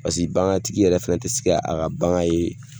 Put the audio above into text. Paseke bagan tigi yɛrɛ fɛnɛ tɛ se ka a ka bagan ye